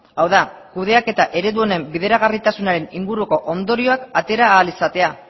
hau da kudeaketa eredu honen bideragarritasunaren inguruko ondorioak atera ahal izatea